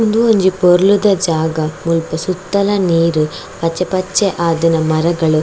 ಉಂದು ಒಂಜಿ ಪೊರ್ಲುದ ಜಾಗ ಮುಲ್ಪ ಸುತ್ತಲ ನೀರ್ ಪಚ್ಚೆ ಪಚ್ಚೆ ಆದಿನ ಮರಗಳ್.